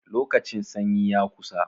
Lokacin sanyi ya kusa.